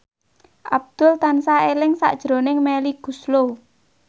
Abdul tansah eling sakjroning Melly Goeslaw